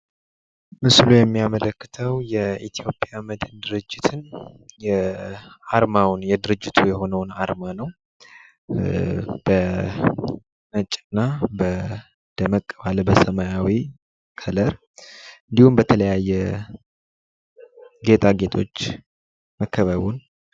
ምስሉ የሚያመለክተው የኢትዮጵያ መድን ድርጅትን አርማውን የድርጅቱን የሆነውን አርማ ነው። በነጭ እና ደመቅ ባለ በሰማያዊ ከለር እንዲሁም በተለያየ ጌጣጌጦች መከበቡን።